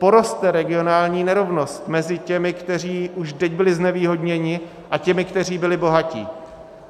Poroste regionální nerovnost mezi těmi, kteří už teď byli znevýhodněni, a těmi, kteří byli bohatí.